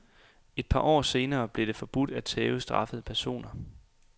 Et par år senere blev det forbudt at tæve straffede personer.